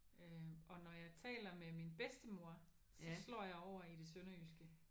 Øh og når jeg taler med min bedstemor så slår jeg over i det sønderjyske